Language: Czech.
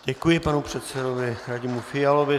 Děkuji panu předsedovi Radimu Fialovi.